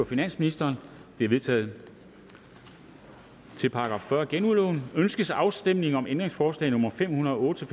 finansministeren de er vedtaget til § fyrre genudlån med ønskes afstemning om ændringsforslag nummer fem hundrede og otte til